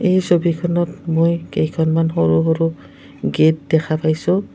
এই ছবিখনত মই কেইখনমান সৰু সৰু গেট দেখা পাইছোঁ।